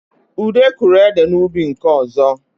Ude kụrụ ede n’ubi nke ọzọ